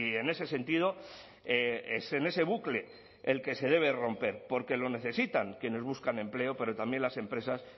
en ese sentido es en ese bucle el que se debe romper porque lo necesitan quienes buscan empleo pero también las empresas